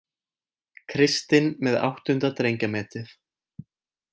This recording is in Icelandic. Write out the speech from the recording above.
Kristinn með áttunda drengjametið